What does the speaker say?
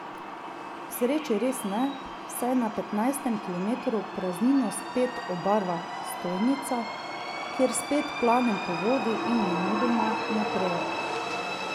K sreči res ne, saj na petnajstem kilometru praznino spet obarva stojnica, kjer spet planem po vodi in nemudoma naprej.